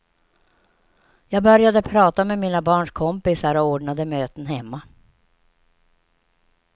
Jag började prata med mina barns kompisar och ordnade möten hemma.